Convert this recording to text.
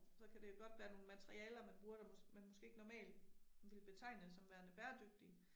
Så kan det godt være nogle materialer man bruger der man måske ikke normalt ville betegne som værende bæredygtige